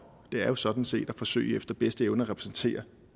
det er sådan set for at forsøge efter bedste evne at repræsentere